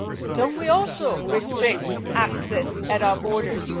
Don't we also restrict access at our borders?